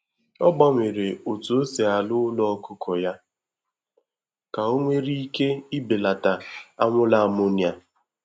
Ọ gbanwere otu osi arụ ụlọ ọkụkọ ya ka o nwere ike ibelata anwụrụ ammonia